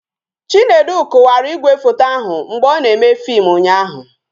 Chinedu kụwara igwefoto ahụ mgbe ọ na-eme fim ụnyaahụ